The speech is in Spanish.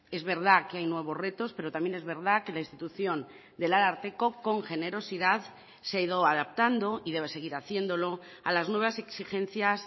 es verdad que hay nuevos retos pero también es verdad que la institución del ararteko con generosidad se ha ido adaptando y debe seguir haciéndolo a las nuevas exigencias